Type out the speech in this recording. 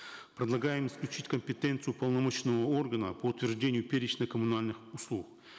предлагаем исключить компетенцию уполномоченного органа по утверждению перечня коммунальных услуг